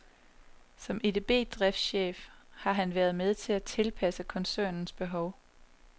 Som EDB-driftschef har han været med til at tilpasse koncernens behov.